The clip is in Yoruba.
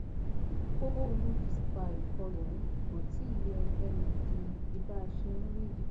kókó ohun tó sì fa ìkọlù ọhún kò tí ì yé ẹnikẹni di di báa ṣe ń wí yìí